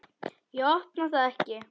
Ég opna það ekki.